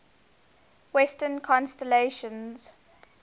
western constellations